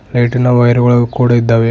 ಲೈಟಿನ ವೈರ್ ಗಳು ಕೂಡ ಇದ್ದಾವೆ.